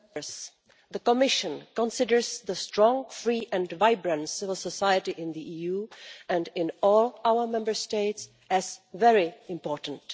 Madam President, the Commission considers the strong, free and vibrant civil society in the EU and in all our Member States as very important.